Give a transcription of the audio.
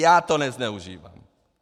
Já to nezneužívám!